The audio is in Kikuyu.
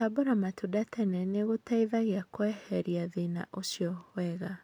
Gũtambũra maũndũ tene nĩgũteithagia kweheria thĩna ũcio wega.